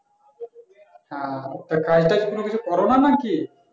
ওহ তো কাজটাজ কিছু করো নাকি